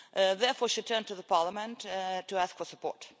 Therefore, she turned to Parliament to ask for support.